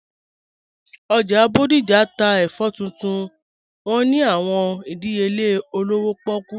Ojá Bodija n tà èfọ̀ tuntun wọn ni àwọn ìdíyèlè òlówó pọ̀kú